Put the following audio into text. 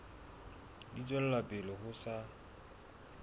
di tswela pele ho sa